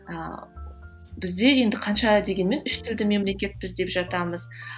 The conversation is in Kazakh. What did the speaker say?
ал бізде енді қанша дегенмен үштілді мемлекетпіз деп жатамыз